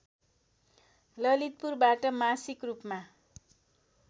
ललितपुरबाट मासिक रूपमा